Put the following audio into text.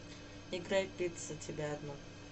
играй пицца тебя одну